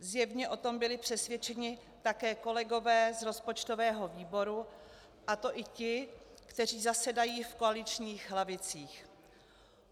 Zjevně o tom byli přesvědčeni také kolegové z rozpočtového výboru, a to i ti, kteří zasedají v koaličních lavicích.